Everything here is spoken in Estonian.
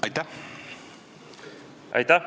Aitäh!